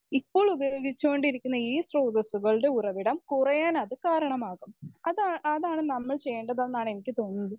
Speaker 1 ഇപ്പോൾ ഉപയോഗിച്ചുകൊണ്ടിരിക്കുന്ന ഈ സ്രോതസ്സുകളുടെ ഉറവിടം കുറയാനത് കാരണമാകും അതാ അതാണ് നമ്മൾ ചെയ്യേണ്ടതെന്നാണ് എനിക്ക് തോന്നുന്നത്.